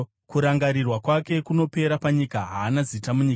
Kurangarirwa kwake kunopera panyika; haana zita munyika.